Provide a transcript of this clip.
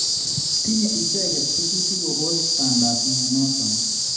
Tinye icheget tetutiik kopos pandap myonoton